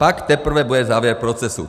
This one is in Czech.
Pak teprve bude závěr procesu.